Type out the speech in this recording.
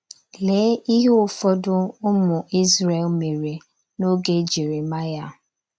Lee ihe ụfọdụ ụmụ Izrel mere n’oge Jeremaya.